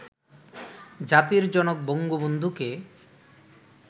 জাতির জনক বন্ধবন্ধুকে